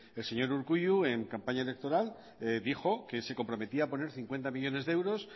el señor urkullu en campaña electoral dijo que se comprometía a poner cincuenta millónes de euros